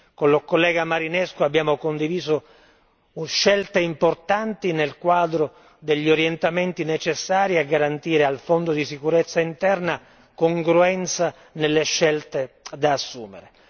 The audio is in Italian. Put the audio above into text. Con il collega Marinescu abbiamo condiviso scelte importanti nel quadro degli orientamenti necessari a garantire al fondo di sicurezza interna congruenza nelle scelte da assumere.